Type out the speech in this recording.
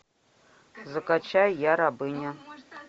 закачай я рабыня